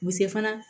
U bɛ se fana